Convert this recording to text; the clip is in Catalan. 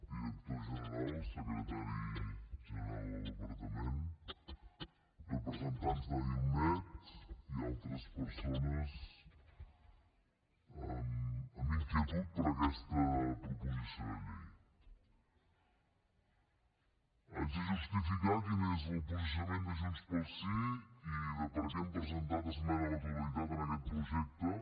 director general secretari general del departament representants d’ailmed i altres persones amb inquietud per aquesta proposició de llei haig de justificar quin és el posicionament de junts pel sí i de per què hem presentat esmena a la totalitat en aquest projecte